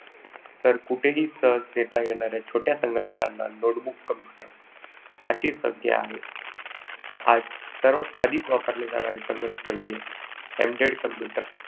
तर कुठेही सहज नेता येणाऱ्या छोट्या संगणकंना notebook computer अशी संज्ञा आहे. आजच्या अधिक वापरले जाणारे संगणक म्हणजे embedded computer.